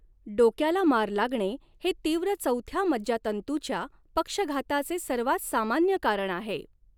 डोक्याला मार लागणे हे तीव्र चौथ्या मज्जातंतूच्या पक्षघाताचे सर्वात सामान्य कारण आहे.